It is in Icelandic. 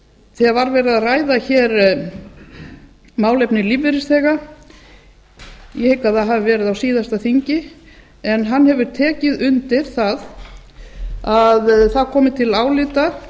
þegar málefni lífeyrisþega voru rædd hér ég hygg að það hafi verið á síðasta þingi en hann hefur tekið undir að það komi til álita